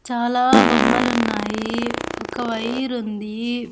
చాలా బొమ్మలు ఉన్నాయి ఒక వైరు ఉంది.